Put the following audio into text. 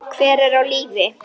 Hver er á lífi?